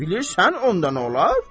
Bilirsən onda nə olar?